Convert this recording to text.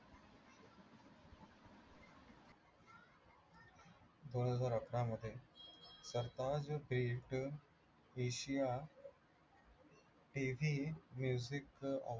दोनहजार अठरामध्ये Asia TVmusic